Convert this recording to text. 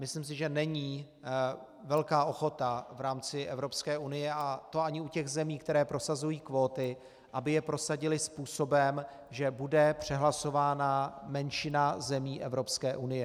Myslím si, že není velká ochota v rámci Evropské unie, a to ani u těch zemí, které prosazují kvóty, aby je prosadily způsobem, že bude přehlasována menšina zemí Evropské unie.